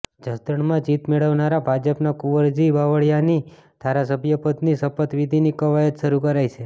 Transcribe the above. જસદણમાં જીત મેળવનારા ભાજપના કુંવરજી બાવળીયાની ધારાસભ્ય પદની શપથવિધિની કવાયત શરૂ કરાઇ છે